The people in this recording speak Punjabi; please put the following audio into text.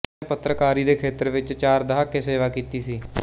ਉਸਨੇ ਪੱਤਰਕਾਰੀ ਦੇ ਖੇਤਰ ਵਿੱਚ ਚਾਰ ਦਹਾਕੇ ਸੇਵਾ ਕੀਤੀ ਸੀ